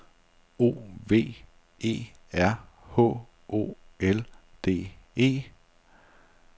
O V E R H O L D E